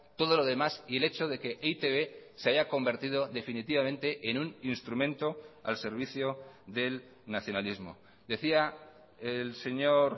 todo lo demás y el hecho de que e i te be se haya convertido definitivamente en un instrumento al servicio del nacionalismo decía el señor